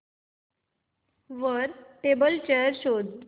वर table chair शोध